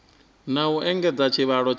na u engedza tshivhalo tsha